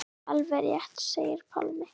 Alveg rétt segir Pálmi.